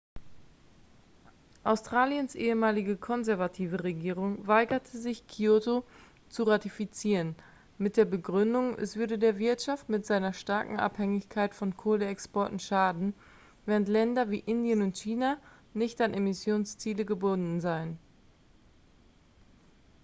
australiens ehemalige konservative regierung weigerte sich kyoto zu ratifizieren mit der begründung es würde der wirtschaft mit seiner starken abhängigkeit von kohleexporten schaden während länder wie indien und china nicht an emissionsziele gebunden seien